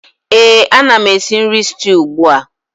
Éè, ana m esi nri stew ugbu a